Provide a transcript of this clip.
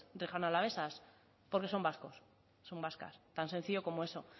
riojanoalavesas porque son vascos son vascas tan sencillo como eso